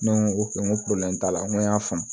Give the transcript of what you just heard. Ne ko n ko t'a la n ko y'a faamu